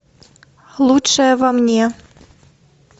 лучшее во мне